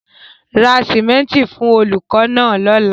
Ra sìmẹ́ńtì fún olùkọ́ náà lọ́la.